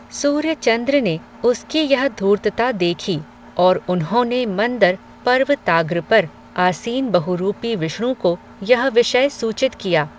सूर्य चंद्र ने, उसकी यह धूर्तता देखी, और उन्होने मंदर पर्वताग्र पर, आसीन बहुरूपी विष्णु को, यह विषय सूचित किया